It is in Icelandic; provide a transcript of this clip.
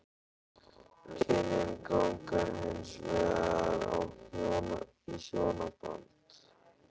Kynin ganga hins vegar í hjónaband.